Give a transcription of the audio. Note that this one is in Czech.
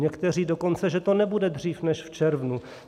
Některé dokonce, že to nebude dřív než v červnu.